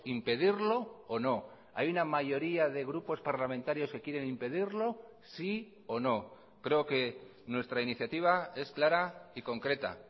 impedirlo o no hay una mayoría de grupos parlamentarios que quieren impedirlo sí o no creo que nuestra iniciativa es clara y concreta